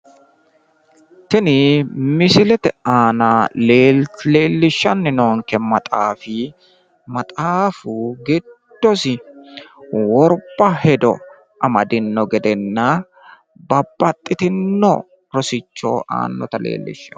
tini misilete aana leellishshanni noonke maxaafi, maxaafu giddosi worba hedo amadino gedenna babbaxxitino rosicho aannota leellishshanno.